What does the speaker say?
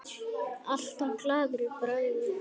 Alltaf glaður í bragði.